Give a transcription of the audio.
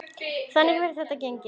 Og þannig hefur þetta gengið.